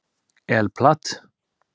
El Plat